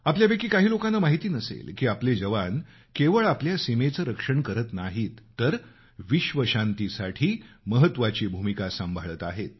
आपल्यापैकी अनेक लोकांना माहिती नसेल की आपले जवान केवळ आपल्या सीमेचं रक्षण करत नाहीत तर विश्वशांतीसाठी महत्वाची भूमिका सांभाळत आहेत